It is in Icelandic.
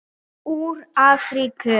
Úr Afríku!